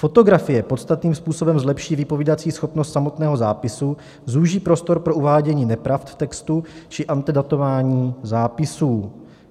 Fotografie podstatným způsobem zlepší vypovídací schopnost samotného zápisu, zúží prostor pro uvádění nepravd v textu či antedatování zápisů.